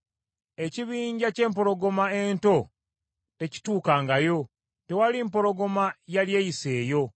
Ekibinja ky’empologoma ento tekituukangayo, tewali mpologoma yali eyiseeyo.